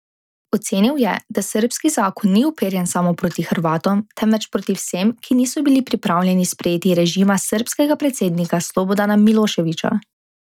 Ocenil je, da srbski zakon ni uperjen samo proti Hrvatom, temveč proti vsem, ki niso bili pripravljeni sprejeti režima srbskega predsednika Slobodana Miloševića.